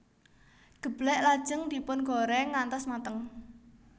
Geblèk lajeng dipun goreng ngantos mateng